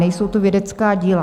Nejsou to vědecká díla.